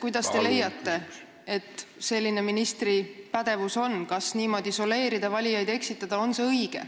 Kas te leiate, et selline ministri pädevus – niimoodi soleerida, valijaid eksitada – on õige?